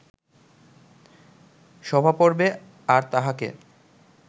সভাপর্বে আর তাঁহাকে